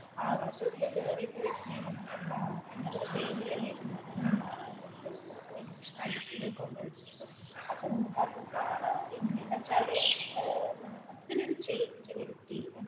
ആകാശത്തില് കേറി ഇപ്പ വരുന്നേ നമുക്ക് കാണാം പണ്ട് അത് ഒരു സ്റ്റേജിൽ അല്ലായിരുന്നോ അന്നേരം കാണാൻ പറ്റില് അപ്പോൾ നമുക്ക് അതും കാണാം പിന്നേ എന്ന് വെച്ചാൽ മൊത്തത്തിൽ ഒരു ചേഞ്ച് വരുത്തി